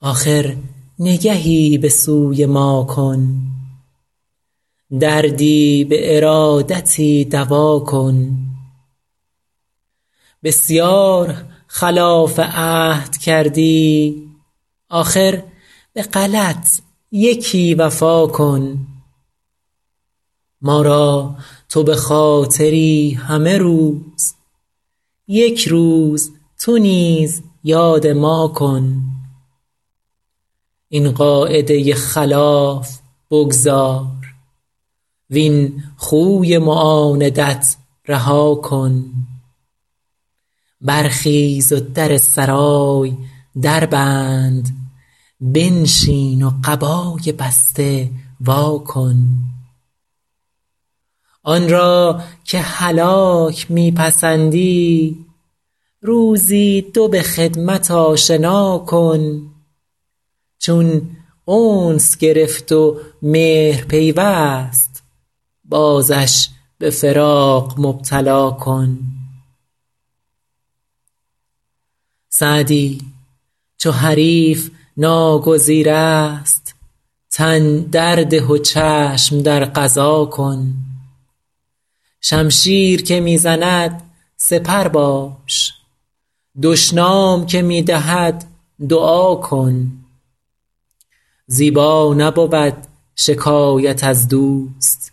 آخر نگهی به سوی ما کن دردی به ارادتی دوا کن بسیار خلاف عهد کردی آخر به غلط یکی وفا کن ما را تو به خاطری همه روز یک روز تو نیز یاد ما کن این قاعده خلاف بگذار وین خوی معاندت رها کن برخیز و در سرای در بند بنشین و قبای بسته وا کن آن را که هلاک می پسندی روزی دو به خدمت آشنا کن چون انس گرفت و مهر پیوست بازش به فراق مبتلا کن سعدی چو حریف ناگزیر است تن در ده و چشم در قضا کن شمشیر که می زند سپر باش دشنام که می دهد دعا کن زیبا نبود شکایت از دوست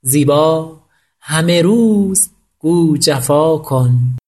زیبا همه روز گو جفا کن